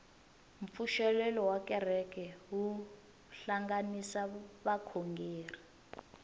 mpfuxelelo wa kereke wu hlanganisa vakhongeri